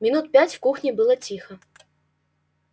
минут пять в кухне было тихо